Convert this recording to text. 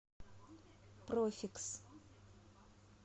профикс